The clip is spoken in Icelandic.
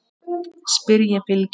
spyr ég Bylgju.